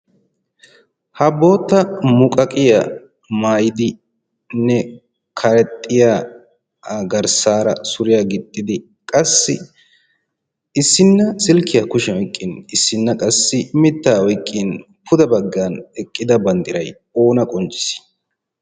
ha bootta muqaqiyaa maayidinne karexxiya garssaara suriyaa gixxidi qassi issinna silkkiyaa kushiyan oyqqin issinna qassi mittaa oyqqin puda baggan eqqida banddiray oona qoncciis